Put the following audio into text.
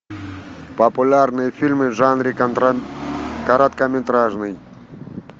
популярные фильмы в жанре короткометражный